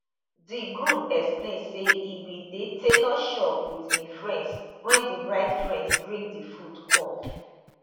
di groom explain say e bin dey tailor shop wit him friends wen di bride friends bring di food come